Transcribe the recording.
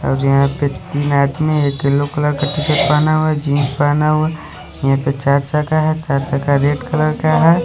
और यहाँ पे तीन आदमी एक ने येल्लो कलर का टीशर्ट पहना हुआ है यहाँ पर चर्च है चर्च रेड कलर का है--